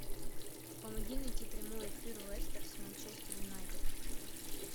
помоги найти прямой эфир лестер с манчестер юнайтед